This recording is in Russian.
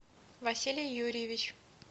василий юрьевич